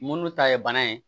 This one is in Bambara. Munnu ta ye bana ye